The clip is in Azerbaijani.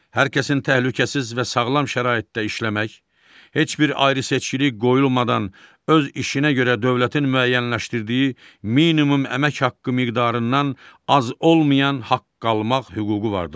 Hər kəsin təhlükəsiz və sağlam şəraitdə işləmək, heç bir ayrıseçkilik qoyulmadan öz işinə görə dövlətin müəyyənləşdirdiyi minimum əmək haqqı miqdarından az olmayan haqq almaq hüququ vardır.